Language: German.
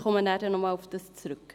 Ich werde darauf zurückkommen.